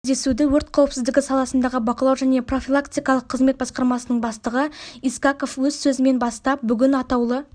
кездесуді өрт қауіпсіздігі саласындағы бақылау және профилактикалық қызмет басқармасының бастығы искаков өз сөзімен бастап бүгін атаулы